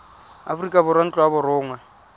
aforika borwa ntlo ya borongwa